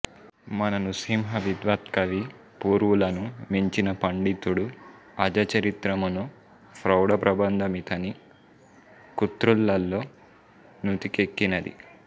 మన నృసింహవిద్వత్కవి పూర్వులను మించిన పండితుడు అజచరిత్రమును ప్రౌఢ ప్రబంధ మితని కృతులలో నుతికెక్కినది